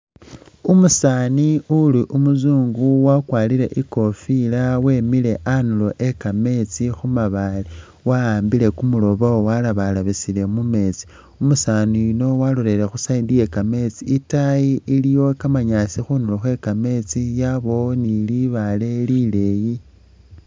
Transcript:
Umusaani uli umuzungu wakwarire ikofila wemile anduro weka meetsi khumabale waambile kumurobo walebalebesele mu’meesti umusaani yuno waloleleye khuside iyeka meetsi itayi iliyo kamanyaasi khunduro khwe kameetsi yabawo ni libale lileyi